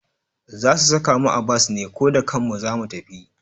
Za su saka mu a bas ne ko da kanmu za mu tafi?